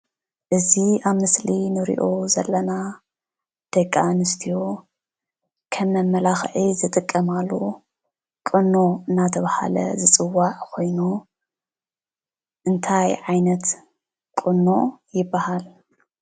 እዚ ኣብ ምስሊ ንሪኦ ዘለና ደቂ ኣንስትዮ ከም መመላኽዒ ዝጥቀማሉ ቁኖ እናተባህለ ዝፅዋዕ ኮይኑ እንታይ ዓይነት ቁኖ ይባሃል?